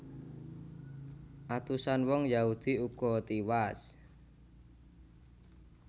Atusan wong Yahudi uga tiwas